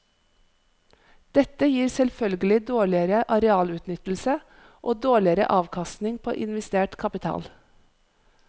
Dette gir selvfølgelig dårligere arealutnyttelse og dårligere avkastning på investert kapital.